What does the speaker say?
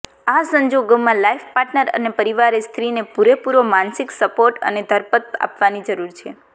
આ સંજોગોમાં life partner અને પરિવારે સ્ત્રીને પૂરેપૂરો માનસિક સપોર્ટ અને ધરપત આપવાની જરૂર છે